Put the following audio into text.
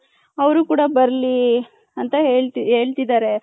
ಅವರು ಕೂಡ ಬರಲಿ ಅಂತ ಹೇಳ್ತಿದಾರೆ .